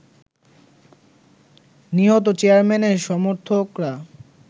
নিহত চেয়ারম্যানের সমর্থকরা